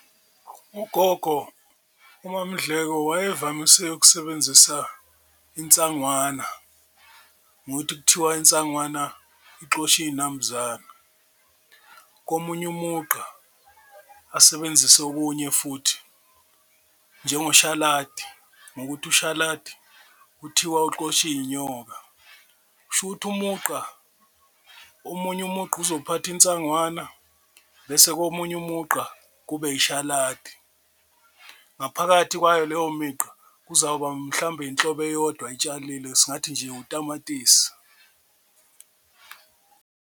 UGogo uMaMdleko wayevamise ukusebenzisa insangwana ngokuthi kuthiwa insangwana ixosha iy'nambuzana, komunye umugqa asebenzise okunye futhi njengoshaladi ngokuthi ushaladi kuthiwa uxosha iy'nyoka. Kusho ukuthi umugqa omunye umugqa uzophatha insangwana bese komunye umugqa kube ishaladi, ngaphakathi kwayo leyo migqa kuzoba mhlawumbe inhlobo eyodwa ayitsalile singathi nje utamatisi.